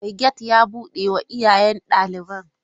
Mai gate ya bude wa iyayen daliban.